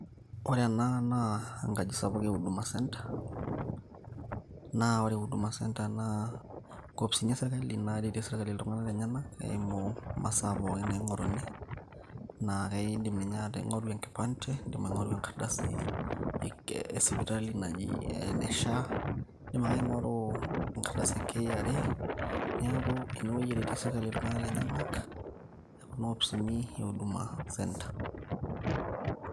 ore ena naa enkaji sapuk e huduma centre naa ore huduma centre naa inkopisini esirkali naretie sirkali iltung'anak lenyenak eimu imasaa pookin naing'oruni naa kaindim ninye ataa ing'oru enkipande indim aing'oru enkardasi espitali naji ene SHA indim ake aing'oru enkardasi e KRA niaku enewueji eretie sirkali iltung'anak lenyenak kuna opisini e huduma centre